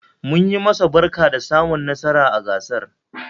Munyi masa barka da samun nasarar gasar